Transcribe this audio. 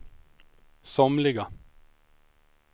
somliga